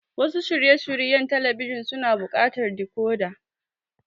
Wasu shirye shiryen talabijin suna buƙatar decoder.